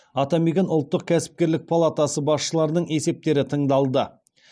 атамекен ұлттық кәсіпкерлік палатасы басшыларының есептері тыңдалды